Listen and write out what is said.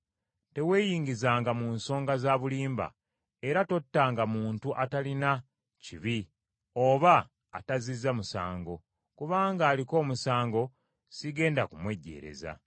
Teweeyingizanga mu nsonga za bulimba, era tottanga muntu atalina kibi oba atazzizza musango, kubanga aliko omusango sigenda kumwejjeereza.